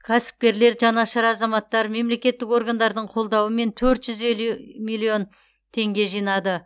кәсіпкерлер жанашыр азаматтар мемлекеттік органдардың қолдауымен төрт жүз елу миллион теңге жинады